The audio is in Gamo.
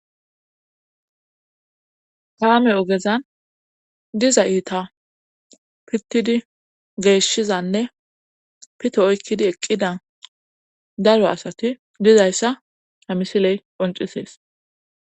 Kaame ogezan diza iita pittidi geeshshizanne pito oykkidi eqqida daro asati dizayssa hamisiley qoncisees